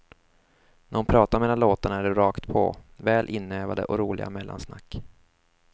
När hon pratar mellan låtarna är det rakt på, väl inövade och roliga mellansnack.